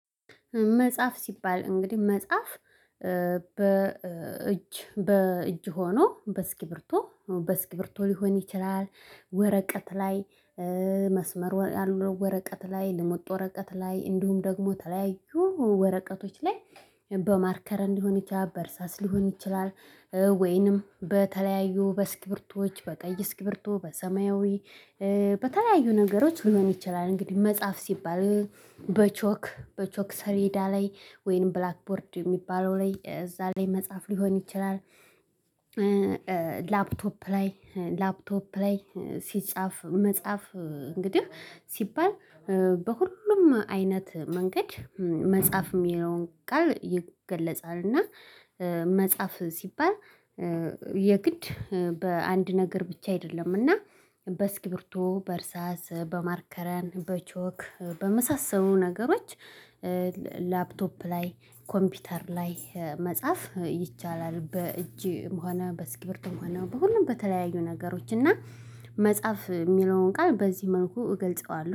መጽሐፍ ሲባል እንግዲህ መጽሐፍ በእጅ በእጅ ሆኖ በእስክሪብቶ በእስክሪብቶ ሊሆን ይችላል። ወረቀት ላይ መስመር ያለው ወረቀት ላይ ልሙጥ ወረቀት ላይ እንዲሁም ደግሞ የተለያዩ ወረቀቶች ላይ በማርከር ሊሆን ይቻላል በእርሳስ ሊሆን ይችላል። ወይንም በተለያዩ በእስክሪብቶች በቀይ እስክሪብቶ በሰማያዊ በተለያዩ ነገሮች ሊሆን ይችላል። እንግዲህ መጽሐፍ ሲባል በቾክ በቾክ ሰሌዳ ላይ ወይንም ብላክቦርድ የሚባለው ላይ እዛ ላይ መጻፍ ሊሆን ይችላል። ላፕቶፕ ላይ ላፕቶፕ ላይ ሲጻፍ መጽሐፍ እንግዲህ ሲባል በሁሉም አይነት መንገድ መጽሐፍ የሚለውን ቃል ይገለጻልና። መጽሐፍ ሲባል የግድ በአንድ ነገር ብቻ አይደለም። እና በእስክሪብቶ በእርሳስ በማርከርም በቾክ በመሳሰሉ ነገሮች ላፕቶፕ ላይ ኮምፒውተር ላይ መጻፍ ይቻላል። በእጅም ሆነ በእስክሪብቶም ሆነ በሁሉም በተለያዩ ነገሮች እና መጽሐፍ የሚለውን ቃል በዚህ መልኩ እገልጸዋለሁ